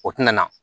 O tɛna na